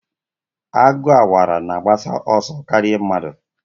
Agụ Awara na-agbasi ọsọ karịa mmadụ.